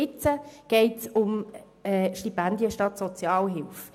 Jetzt geht es um Stipendien anstelle von Sozialhilfe.